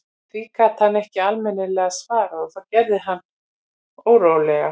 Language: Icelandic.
Því gat hann ekki almennilega svarað og það gerði hann órólegan.